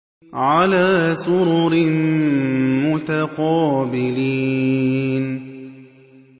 عَلَىٰ سُرُرٍ مُّتَقَابِلِينَ